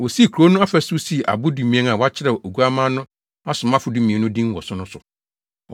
Wosii kurow no afasu sii abo dumien a wɔakyerɛw Oguamma no asomafo dumien no din wɔ so no so.